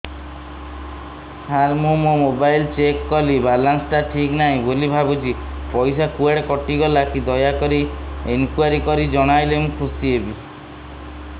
ସାର ମୁଁ ମୋର mobile check କଲି ବାଲାନ୍ସ ଟା ଠିକ ନାହିଁ ବୋଲି ଭାବୁଛି ପଇସା କୁଆଡେ କଟି ଗଲା କି ଦୟାକରି ଇନକ୍ୱାରି କରି ଜଣାଇଲେ ମୁଁ ଖୁସି ହେବି